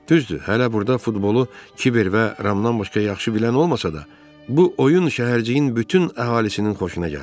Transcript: Düzdür, hələ burda futbolu Kiber və Ramdan başqa yaxşı bilən olmasa da, bu oyun şəhərciyin bütün əhalisinin xoşuna gəldi.